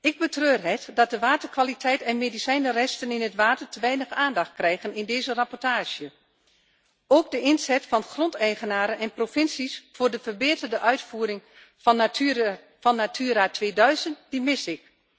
Ik betreur het dat de waterkwaliteit en medicijnresten in het water te weinig aandacht krijgen in deze rapportage. Ook de inzet van grondeigenaren en provincies voor de verbeterde uitvoering van Natura 2000 mis ik.